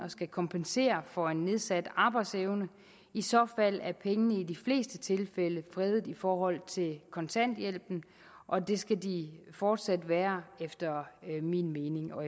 skal kompensere for en nedsat arbejdsevne i så fald er pengene i de fleste tilfælde fredet i forhold til kontanthjælpen og det skal de fortsat være efter min min og